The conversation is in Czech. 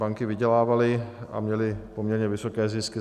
Banky vydělávaly a měly poměrně vysoké zisky.